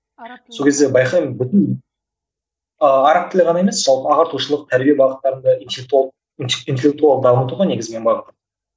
сол кезде байқаймын бүтін араб тілі ғана емес жалпы ағартушылық тәрбие бағыттарында интеллектуалды дамыту ғой негізі менің бағытым